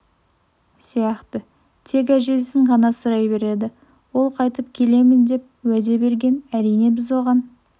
сияқты тек әжесін ғана сұрай береді ол қайтып келемін деп уәде берген әрине біз оған